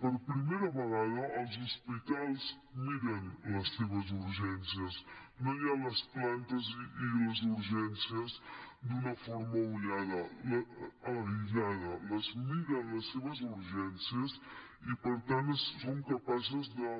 per primera vegada els hospitals miren les seves urgències no hi ha les plantes i les urgències d’una forma aïllada les miren les seves urgències i per tant són capaços de